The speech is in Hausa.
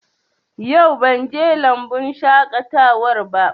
Yau ban je lambun shaƙatawar ba